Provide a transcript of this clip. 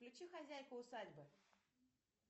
включи хозяйку усадьбы